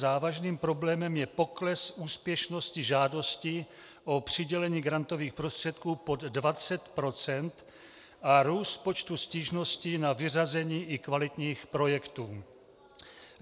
Závažným problémem je pokles úspěšnosti žádostí o přidělení grantových prostředků pod 20 % a růst počtu stížností na vyřazení i kvalitních projektů.